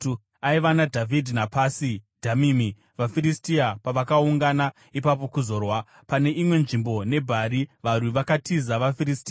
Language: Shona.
Aiva naDhavhidhi paPasi Dhamimi vaFiristia pavakaungana ipapo kuzorwa. Pane imwe nzvimbo paiva nomunda wakanga uzere nebhari, varwi vakatiza vaFiristia.